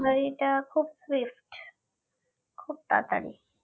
delivery টা খুব safe খুব তাড়াতাড়ি